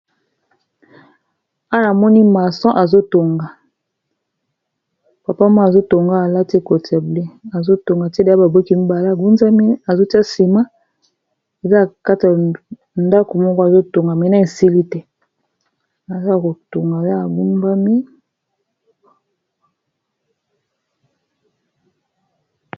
Awa namoni mason azotonga papama azotonga alati kotable azotonga tiele ya baboki mibala ngunzami azotia nsima eza akata ndako moko azotonga mena esili te aza kotonga ya agumbami